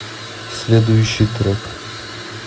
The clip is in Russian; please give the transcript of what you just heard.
следующий трек